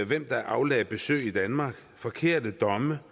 hvem der aflagde besøg i danmark forkerte domme